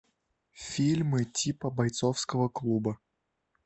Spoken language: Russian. фильмы типа бойцовского клуба